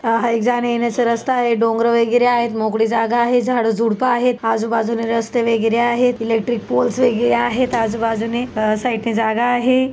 हा एक जाण्यायेण्याचा रस्ता आहे. डोंगर वगैरे आहेत मोकळी जागा आहे झाड झुड्प आहेत आजूबाजूनी रस्ते वगैरे आहेत इलेक्ट्रिक पोल्स वगैरे आहेत आजुबाजुने अ साईड णे जागा आहे.